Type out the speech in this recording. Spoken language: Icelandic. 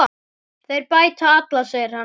Þeir bæta alla, segir hann.